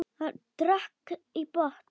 Hann drakk í botn.